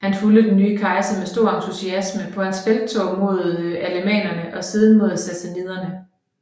Han fulgte den nye kejser med stor entusiasme på hans felttog mod alemannerne og siden mod sassaniderne